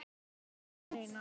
Alls ekki neinar.